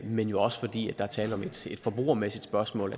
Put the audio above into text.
men jo også fordi der er tale om et forbrugermæssigt spørgsmål